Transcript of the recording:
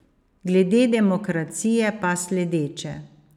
Glede demokracije pa sledeče.